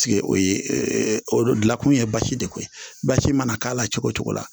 o ye o gilakun ye basi de ko ye basi mana k'a la cogo o cogo la